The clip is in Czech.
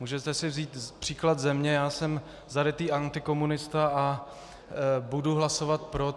Můžete si vzít příklad ze mě, já jsem zarytý antikomunista, a budu hlasovat pro.